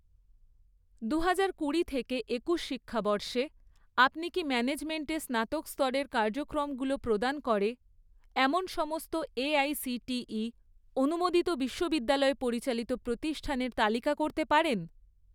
দুহাজার কুড়ি থেকে একুশ শিক্ষাবর্ষে, আপনি কি ম্যানেজমেন্ট এ স্নাতক স্তরের কার্যক্রমগুলো প্রদান করে এমন সমস্ত এআইসিটিই অনুমোদিত বিশ্ববিদ্যালয় পরিচালিত প্রতিষ্ঠানের তালিকা করতে পারেন?